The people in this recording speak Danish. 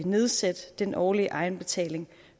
nedsætte den årlige egenbetaling